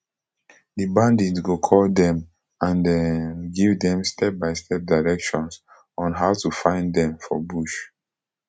di bandit go call dem and um give dem stepbystep directions on how to find dem for bush